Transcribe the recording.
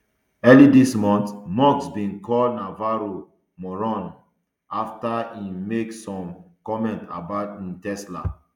early dis month musk bin call navarro moron um afta im make some comment about um tesla